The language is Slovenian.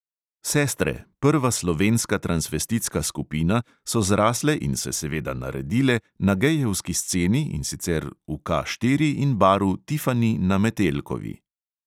Sestre, prva slovenska tranvestitska skupina, so zrasle in se seveda naredile na gejevski sceni, in sicer v K štiri in baru tifani na metelkovi.